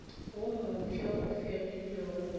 wo mofsa e fegilwe go